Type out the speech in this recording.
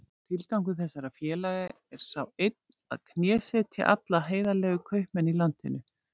Tilgangur þessara félaga er sá einn að knésetja alla heiðarlega kaupmenn í landinu.